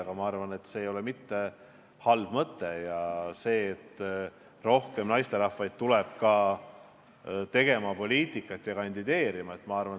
Aga ma arvan, et see ei ole mitte halb mõte, et rohkem naisterahvaid peaks tulema kandideerima ja poliitikat tegema.